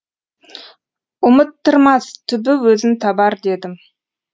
ұмыттырмас түбі өзін табар дедім